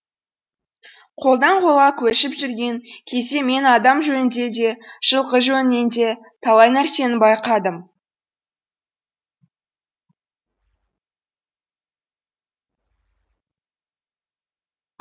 қолдан қолға көшіп жүрген кезде мен адам жөнінде де жылқы жөнінде де талай нәрсені байқадым